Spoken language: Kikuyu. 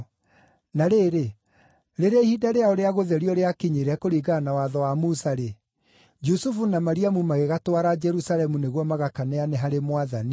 Na rĩrĩ, rĩrĩa ihinda rĩao rĩa gũtherio rĩakinyire kũringana na Watho wa Musa-rĩ, Jusufu na Mariamu magĩgatwara Jerusalemu nĩguo magakaneane harĩ Mwathani